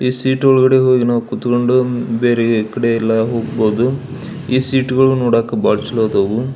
ಈ ಸೀಟ್ ಒಳಗಡೆ ಹೋಗಿ ನಾವು ಕುತ್ಕೊಂಡು ಬೇರೆ ಕಡೆ ಎಲ್ಲ ಹೋಗ್ಬೋದು ಈ ಸೀಟುಗಳು ನೋಡಕ್ ಚಂದ್ ಆದವ್.